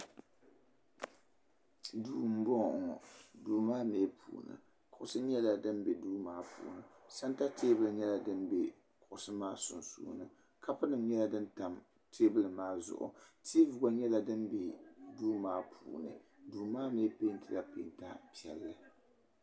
Duu mbɔŋɔ ŋɔ duu ma mɛ puuni kuɣisi nyɛla din bɛ duu maa puuni santa tɛɛbuli nyɛla dimbɛ kuɣisi maa sunsuuni kapu nim yɛla din tam tɛɛbuli maa Zuɣu tevi gba nyɛla dimbɛ duu ma puuni duu maa mi pɛntila pɛnta piɛlli.